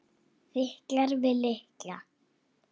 Fitlar við lykla.